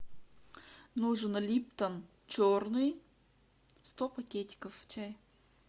нужен липтон черный сто пакетиков чай